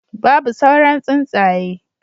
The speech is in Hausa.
Babu sauran tsuntsaye